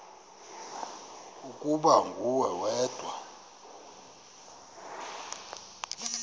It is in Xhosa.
ukuba nguwe wedwa